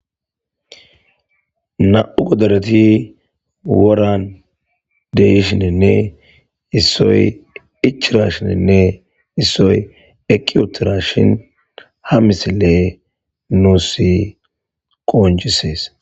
Na'u godoreti woran deyshinenne issoy ichira shinenne issoy eqiyotira shin ha misile nuusi qoonjisees.